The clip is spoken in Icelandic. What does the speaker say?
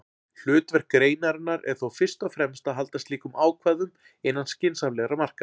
Hlutverk greinarinnar er þó fyrst og fremst að halda slíkum ákvæðum innan skynsamlegra marka.